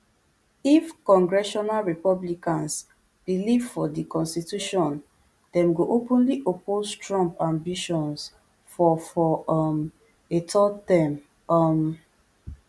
if congressional republicans believe for di constitution dem go openly oppose trump ambitions for for um a third term um